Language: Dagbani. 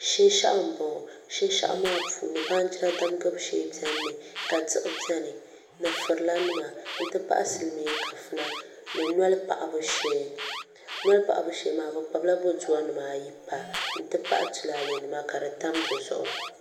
Shinshaɣu n bɔŋɔ shinshaɣu maa puuni baanjira damgibu shee biɛni mi ka diɣi biɛni ni furila nima n ti pahi silmiin kafuna ni noli paɣabu shee noli paɣabu shee maa bi kpabila boduwa nim pa n ti pahi tulaalɛ nima ka di tam dizuɣu